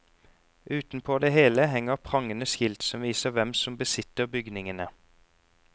Utenpå det hele henger prangende skilt som viser hvem som besitter bygningene.